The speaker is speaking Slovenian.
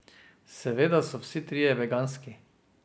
Seveda so vsi trije veganski.